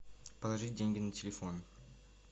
положить деньги на телефон